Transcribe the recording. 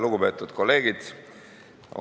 Lugupeetud kolleegid!